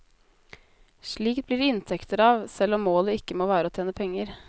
Slikt blir det inntekter av, selv om målet ikke må være å tjene penger.